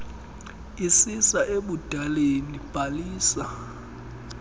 isisa ebudaleni bhalisa